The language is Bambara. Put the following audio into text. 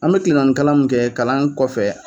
An be tilen naani kalan mun kɛ kalan kɔfɛ.